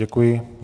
Děkuji.